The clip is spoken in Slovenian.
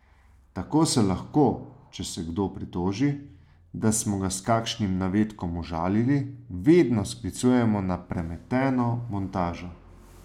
Tako se lahko, če se kdo pritoži, da smo ga s kakšnim navedkom užalili, vedno sklicujemo na premeteno montažo.